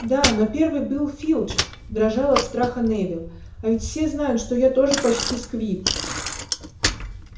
да но первый был филч дрожал от страха невилл а ведь все знают что я тоже почти сквиб